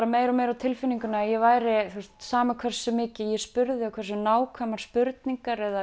meira og meira á tilfinninguna að ég væri sama hversu mikið ég spurði og hversu nákvæmar spurningar